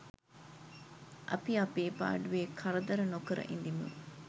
අපි අපේ පාඩුවේ කරදර නොකර ඉඳිමු.